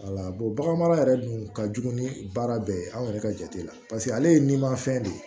bagan mara yɛrɛ dun ka jugu ni baara bɛɛ ye anw yɛrɛ ka jate la paseke ale ye ni ma fɛn de ye